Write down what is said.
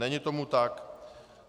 Není tomu tak.